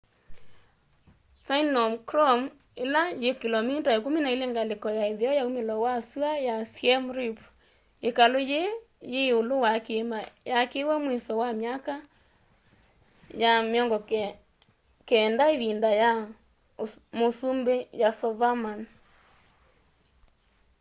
phnom krom ila yi kilomita 12 ngaliko ya itheo ya umilo wa sua ya siem reap ikalu yii yi iulu wa kiima yaakiwe mwiso wa myaka ya 900 ivinda ya musumbi yasovarman